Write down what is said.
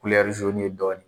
ye dɔɔnin